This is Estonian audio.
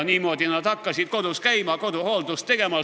Niimoodi nad hakkasidki kodus käima, koduhooldust tegema.